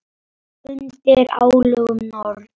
Undir álögum Norn!